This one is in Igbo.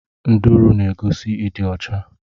Nduru n'egosi ịdị ọcha.